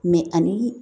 ani